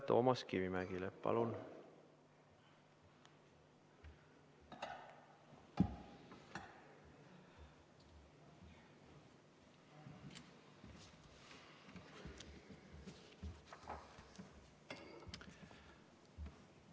Toomas Kivimägi, palun!